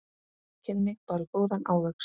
Þau kynni báru góðan ávöxt.